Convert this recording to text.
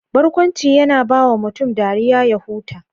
Barkwanci yana bawa mutum dariya ya huta.